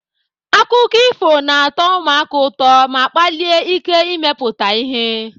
Akụkọ ifo na-atọ ụmụaka ụtọ ma kpalie ike imepụta ihe.